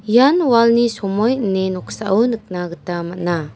ian walni somoi ine noksao nikna gita man·a.